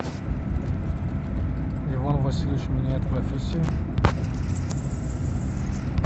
иван васильевич меняет профессию